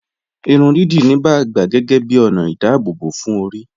Ìrùn díídí níbà gbà géégé bí onà ìdábòbò fún orí.